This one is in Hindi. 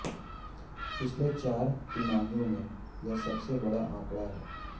पिछली चार तिमाहियों में यह सबसे बड़ा आंकड़ा है